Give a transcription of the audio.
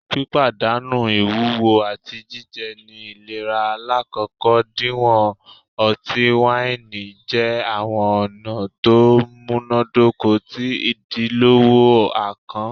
Pipadanu iwuwo ati jijẹ ni ilera lakoko diwọn ọti-waini jẹ awọn ọna to munadoko ti idilọwọ akàn